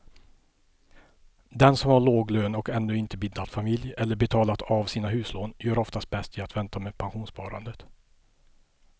Den som har låg lön och ännu inte bildat familj eller betalat av sina huslån gör oftast bäst i att vänta med pensionssparandet.